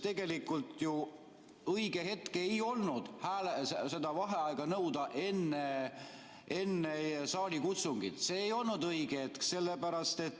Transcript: Tegelikult õige hetk seda vaheaega nõuda ei olnud ju enne saalikutsungit, see ei olnud õige hetk.